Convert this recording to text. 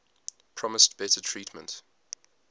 promised better treatment